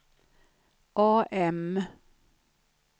AM